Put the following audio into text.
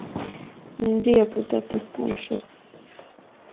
উম জী আপু তা তো অবশ্যই